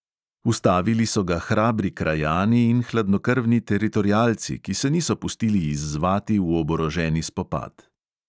Ustavili so ga hrabri krajani in hladnokrvni teritorialci, ki se niso pustili izzvati v oboroženi spopad.